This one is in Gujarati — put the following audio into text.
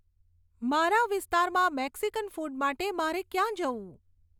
મારા વિસ્તારમાં મેક્સિકન ફૂડ માટે મારે ક્યાં જવું